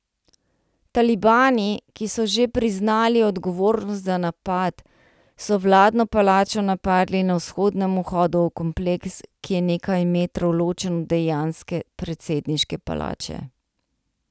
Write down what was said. Talibani, ki so že priznali odgovornost za napad, so vladno palačo napadli na vzhodnem vhodu v kompleks, ki je nekaj metrov ločen od dejanske predsedniške palače.